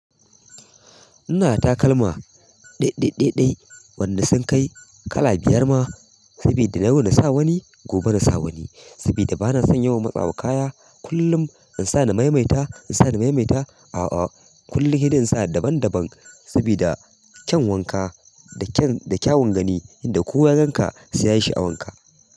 Ina da takalma dai-dai-dai wanda sun kai kala biyar ma, sabida yau na sa wani gobe na sa wani. Sabida bana son yi wa matsawa kaya. Kullum in sa na maimaita, in sa na maimaita. Aa kullum sede insa daban daban sabida kyaun wanka da kyan. Da kyawun gani yadda kowa yagan ka seyyaji sha'awanka.